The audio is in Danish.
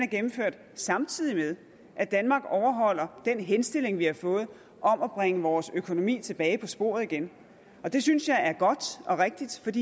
gennemført samtidig med at danmark overholder den henstilling vi har fået om at bringe vores økonomi tilbage på sporet igen det synes jeg er godt og rigtigt